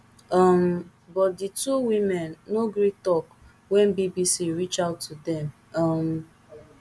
um but di two women no gree tok wen bbc reach out to dem um